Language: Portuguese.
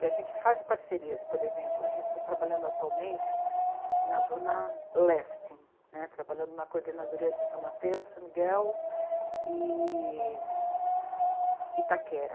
E a gente faz parcerias, por exemplo, a gente está trabalhando atualmente na Zona Leste, né, trabalhando na coordenadoria de São Mateus, São Miguel e Itaquera.